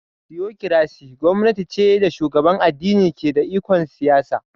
"Theocracy" gwamnati ce da shugaban addini ke da ikon siyasa